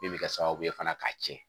Min bɛ kɛ sababu ye fana k'a tiɲɛ